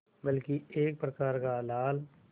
बल्कि एक प्रकार का लाल